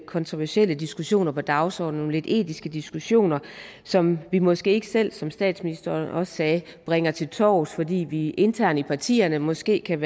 kontroversielle diskussioner på dagsordenen nogle lidt etiske diskussioner som vi måske ikke selv som statsministeren også sagde bringer til torvs fordi vi internt i partierne måske kan